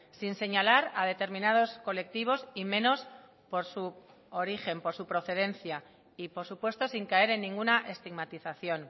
sin señalar a determinados colectivos y menos por su origen por su procedencia y por supuesto sin caer en ninguna estigmatización